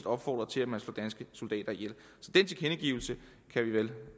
opfordret til at man slår danske soldater ihjel den tilkendegivelse kan vi vel